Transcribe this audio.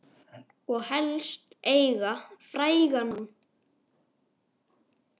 Og helst eiga frægan mann.